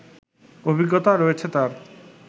অভিজ্ঞতা রয়েছে তার